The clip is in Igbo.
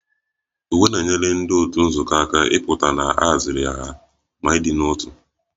Uwe na-enyere ndị otu nzukọ aka ịpụta na a haziri ha ma dị n'otu